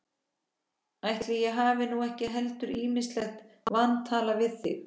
Ætli ég eigi nú ekki heldur ýmislegt vantalað við þig.